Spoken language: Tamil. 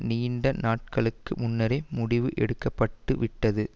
நீண்ட நாட்களுக்கு முன்னரே முடிவு எடுக்க பட்டு விட்டது